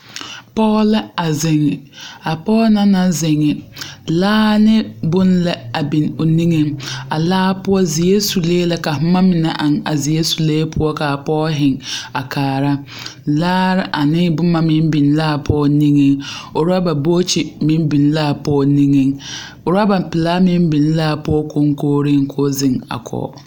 Pɔɡe la a zeŋ a pɔɡe na na zeŋ laa ne bon la biŋ a o niŋeŋ a laa poɔ zeɛre sulee la ka boma mine eŋ a zeɛre sulee poɔ ka a pɔɡe zeŋ a kaara laare ane boma meŋ biŋ la a pɔɡe niŋeŋ urɔba bookyi meŋ biŋ la a pɔɡe niŋeŋ urɔba pelaa meŋ biŋ la a pɔɡe koŋkooreŋ k'o zeŋ a kɔɡe.